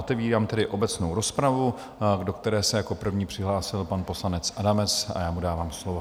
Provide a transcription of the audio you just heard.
Otevírám tedy obecnou rozpravu, do které se jako první přihlásil pan poslanec Adamec, a já mu dávám slovo.